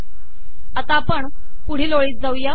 आता आपण पुढील ओळीत जाऊ या